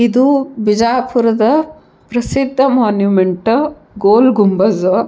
ಇದು ಬಿಜಾಪುರದ ಪ್ರಸಿದ್ಧ ಮೊನುಮೆಂಟ್ ಗೋಲ್ ಗೊಂಬಜ್.